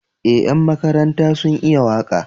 Eh ƴan makaranta sun iya waka